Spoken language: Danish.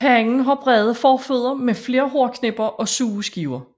Hannen har brede forfødder med flere hårknipper og sugeskiver